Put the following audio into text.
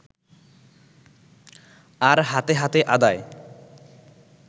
আর হাতে হাতে আদায়